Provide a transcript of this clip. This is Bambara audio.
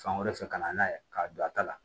Fan wɛrɛ fɛ ka na n'a ye k'a don a ta la